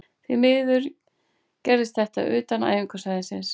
Því miður gerðist þetta utan æfingasvæðisins.